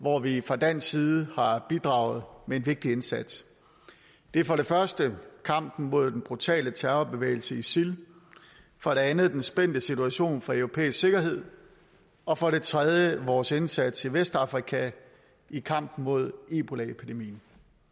hvor vi fra dansk side har bidraget med en vigtig indsats det er for det første kampen mod den brutale terrorbevægelse isil for det andet den spændte situation for europæisk sikkerhed og for det tredje vores indsats i vestafrika i kampen mod ebolaepidemien